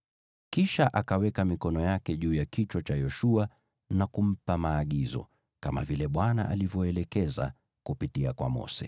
Kisha akaweka mikono yake juu ya kichwa cha Yoshua na kumpa maagizo, kama vile Bwana alivyoelekeza kupitia kwa Mose.